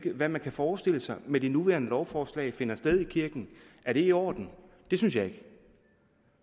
hvad man kunne forestille sig med det nuværende lovforslag ville finde sted i kirken er det i orden det synes jeg ikke